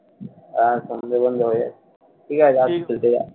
হ্যাঁ সন্ধ্যে তন্ধ্যে হয়ে যাচ্ছে, ঠিকাছে